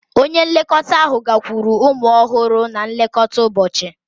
Onye nlekọta ahụ ga-agakwuru ụmụ ọhụrụ na nlekọta ụbọchị.